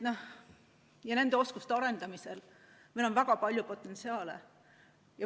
Ja nende oskuste arendamisel meil on väga palju potentsiaali.